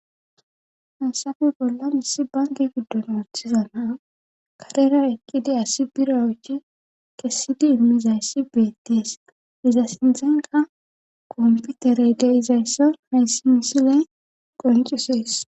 Hasafe bollan issi banke giddon ooththiza na karera eqqidi asi bira uuchi kessidi immizayssi beetties iza sinthenka komputerey geizayssa haysimisile qoncusees